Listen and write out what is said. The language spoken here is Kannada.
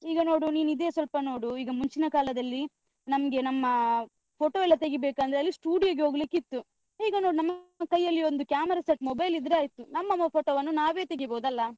ಈಗ ನೋಡು ನೀನ್ ಇದೇ ಸ್ವಲ್ಪ ನೋಡು, ಈಗ ಮುಂಚಿನ ಕಾಲದಲ್ಲಿ ನಮ್ಗೆ ನಮ್ಮಾ photo ಎಲ್ಲ ತೆಗಿಬೇಕಂದ್ರೆ ಅಲ್ಲಿ studio ಗೆ ಹೋಗ್ಲಿಕ್ಕಿತ್ತು ಈಗ ನೋಡು, ನಮ್ಮ ಕೈಯಲ್ಲಿ ಒಂದು camera set mobile ಇದ್ರೆ ಆಯ್ತು, ನಮ್ಮ photo ವನ್ನು ನಾವೇ ತೆಗಿಬೋದ್ ಅಲ್ಲಾ?